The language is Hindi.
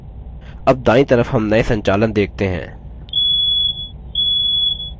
अब दायीं तरफ हम नये संचालन देखते हैं